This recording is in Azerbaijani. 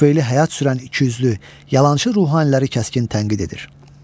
Tüfeyli həyat sürən ikiyüzlü, yalançı ruhaniləri kəskin tənqid edir.